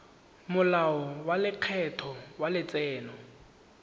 molao wa lekgetho wa letseno